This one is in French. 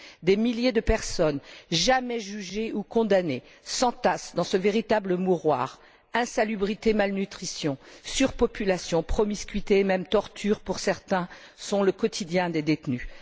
Des milliers de personnes, jamais jugées ou condamnées, s'entassent dans ce véritable mouroir insalubrité, malnutrition, surpopulation, promiscuité et même tortures, pour certains, sont le quotidien des détenus.